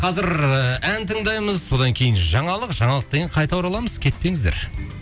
қазір ән тыңдаймыз содан кейін жаңалық жаңалықтан кейін қайта ораламыз кетпеңіздер